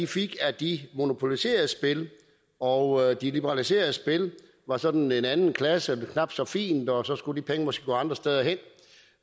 fik af de monopoliserede spil og de liberaliserede spil var sådan en anden klasse knap så fint og så skulle de penge måske gå andre steder hen